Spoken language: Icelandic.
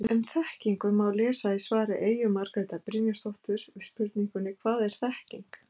Um þekkingu má lesa í svari Eyju Margrétar Brynjarsdóttur við spurningunni Hvað er þekking?